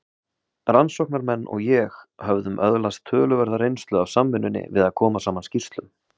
Rannsóknarmenn og ég höfðum öðlast töluverða reynslu af samvinnunni við að koma saman skýrslum.